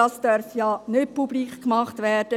Das darf jedoch nicht publik gemacht werden.